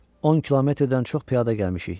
10 kilometrdən çox piyada gəlmişik.